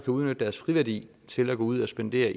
udnytte deres friværdi til at gå ud og spendere